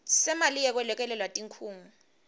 semali yekwelekelela tikhungo